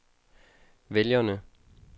vælgerne